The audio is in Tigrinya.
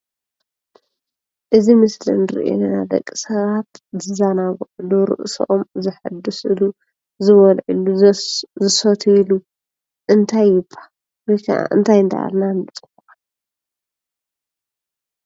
እዙይ ምስሊ እንርእዮ ዘለና ደቂ ሰባት ዝዘናግዕሉ ርእሶም ዘሕድስሉ፣ ዝበልዕሉ፣ ዘስ ዝስትይሉ እንታይ ይብሃል? ወይ ከዓ እንታይ እናበልና ንፅውዖ?